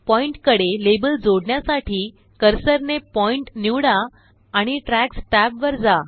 पॉईन्टकडे label जोडण्यासाठीकर्सरनेपॉईन्ट निवडा आणि ट्रॅक्स टॅब वर जा